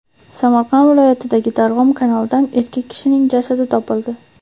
Samarqand viloyatidagi Darg‘om kanalidan erkak kishining jasadi topildi.